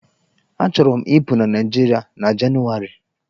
Achọrọ m ịpụ na Naịjiịrịa na Jenụwarị.